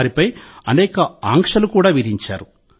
వారిపై అనేక ఆంక్షలు కూడా విధించారు